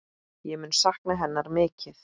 Ég mun sakna hennar mikið.